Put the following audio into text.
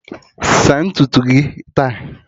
Saa ntutu gị taa